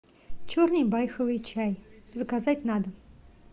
черный байховый чай заказать на дом